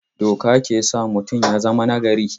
Doka ke sa mutum ya zama nagari.